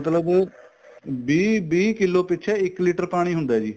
ਮਤਲਬ ਵੀਹ ਵੀਹ ਕਿੱਲੋ ਪਿੱਛੇ ਇੱਕ litter ਪਾਣੀ ਹੁੰਦਾ ਜੀ